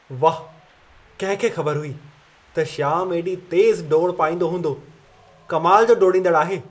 वाह! कंहिं खे ख़बर हुई त श्यामु एॾी तेज़ डोड़ पाईंदो हूंदो! कमाल जो डोड़ींदड़ आहे।